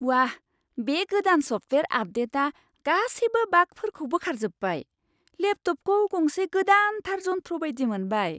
वाह, बे गोदान सफ्टवेआर आपडेटआ गासैबो बागफोरखौ बोखारजोब्बाय। लेपटपखौ गंसे गोदानथार जन्थ्र बायदि मोनबाय।